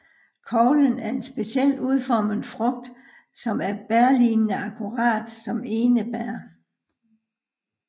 Koglen er en specielt udformet frugt som er bærlignende akkurat som hos enebær